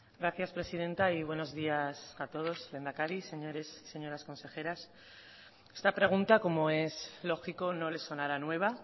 gracias presidenta y buenos días a todos lehendakari señores y señoras consejeras esta pregunta como es lógico no le sonará nueva